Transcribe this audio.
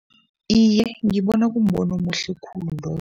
Iye, ngibona kumbono omuhle khulu loyo.